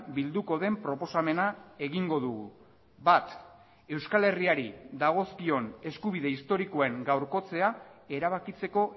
bilduko den proposamena egingo dugu bat euskal herriari dagozkion eskubide historikoen gaurkotzea erabakitzeko